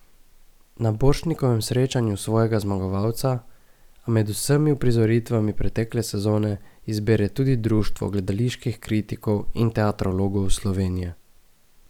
Na Borštnikovem srečanju svojega zmagovalca, a med vsemi uprizoritvami pretekle sezone, izbere tudi Društvo gledaliških kritikov in teatrologov Slovenije.